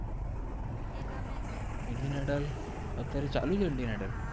Indian Idol અત્ય઼આરે ચાલુ છે ઇન્દિઅન આઇદિઅલ